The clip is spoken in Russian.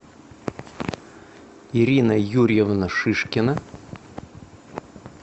ирина юрьевна шишкина